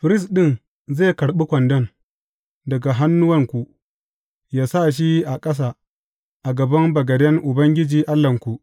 Firist ɗin zai karɓi kwandon daga hannuwanku yă sa shi a ƙasa a gaban bagaden Ubangiji Allahnku.